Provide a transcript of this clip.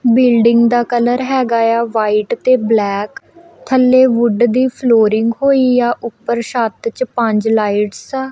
Building ਦਾ colour ਹੈਗਾ ਏ ਆ ਵਾਈਟ ਤੇ ਬਲੈਕ ਥੱਲੇ ਵੁੱਡ ਦੀ ਫਲੋਰਿੰਗ ਹੋਈ ਆ ਉੱਪਰ ਛੱਤ 'ਚ ਪੰਜ ਲਾਈਟਸ ਆ।